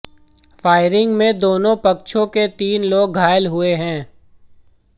firing में दोनों पक्षों के तीन लोग घायल हुए हैं